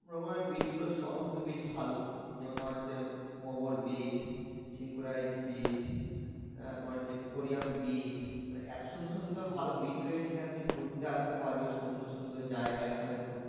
beach গুলো সমস্ত beach ভালো যেমন তোমার হচ্ছে beach beach তোমার হচ্ছে beach মানে এত সুন্দর সুন্দর ভালো beach রয়েছে এখানে তুমি ঘুরতে আসতে পারবে সুন্দর সুন্দর জায়গায় এখানে ঘুরতে